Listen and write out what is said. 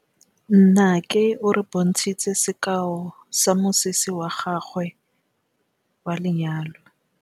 Nnake o re bontshitse sekaô sa mosese wa gagwe wa lenyalo.